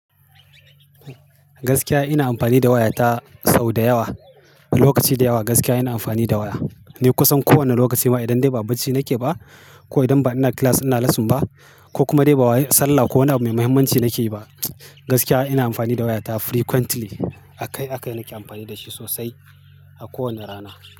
Gaskiya ina amfani da waya ta sau da yawa. Lokaci da yawa gaskiya ina amfani da waya. Ni kusan ko wane lokaci ma idan dai ba bacci nake ba ko idan ba ina class ina lesson ba ko kuma dai ba sallah ko wani abu mai mahimmanci nake yi ba, gaskiya ina amfani da waya ta frequently. Akai-akai nake amfani da shi sosai a kowane rana.